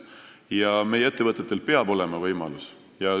Ja meie ettevõtetel peab olema võimalus.